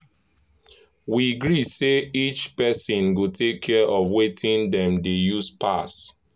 we gree say each person go take care of wetin dem dey use pass.